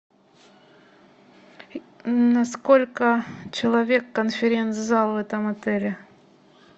на сколько человек конференц зал в этом отеле